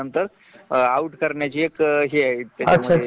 म्हणजे फॅमिली मध्ये राहायचे असेन तर नोकरी करावी लागते